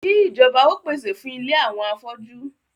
Kí ìjọba ó pèsè fún ilé àwọn afọ́jú